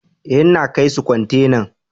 Eh, n'na kai su kwantenan.